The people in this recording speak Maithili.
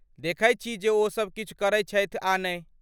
देखैत छी जे ओसब किछु करैत छथि आ नहि।